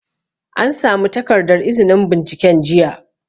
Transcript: An samu takardar izinin binciken jiya